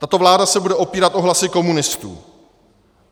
Tato vláda se bude opírat o hlasy komunistů.